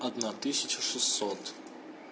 одна тысяча шестьсот